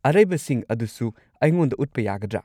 ꯑꯔꯩꯕꯁꯤꯡ ꯑꯗꯨꯁꯨ ꯑꯩꯉꯣꯟꯗ ꯎꯠꯄ ꯌꯥꯒꯗ꯭ꯔꯥ?